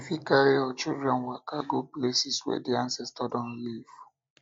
you fit carry your children waka go places wey di ancestor don live